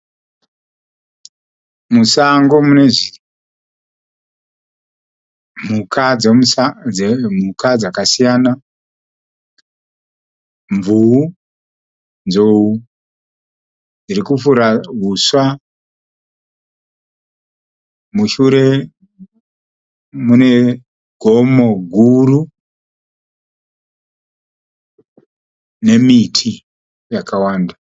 Musango mune mhuka dzakasiyana. Mvuu, nzou dziri kufura huswa. Mushure mune gomo guru nemiti yakawanda.